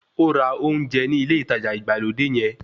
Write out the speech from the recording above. Ó ra ounjẹ ní ilé ìtajà ìgbàlódé yẹn